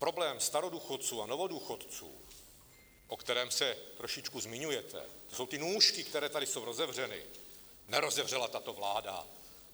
Problém starodůchodců a novodůchodců, o kterém se trošičku zmiňujete, to jsou ty nůžky, které tady jsou rozevřeny, nerozevřela tato vláda.